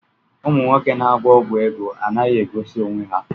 Ụmụnwoke na-agwọ ọgwụ ego anaghị egosi onwe ha.